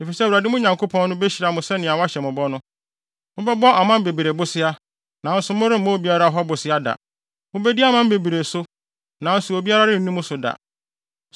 Efisɛ Awurade, mo Nyankopɔn no, behyira mo sɛnea wahyɛ mo bɔ no. Mobɛbɔ aman bebree bosea, nanso moremmɔ obiara hɔ bosea da. Mubedi aman bebree so, nanso obiara renni mo so da.